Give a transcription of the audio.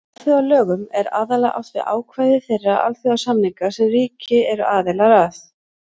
Með alþjóðalögum er aðallega átt við ákvæði þeirra alþjóðasamninga sem ríki eru aðilar að.